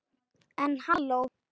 En halló.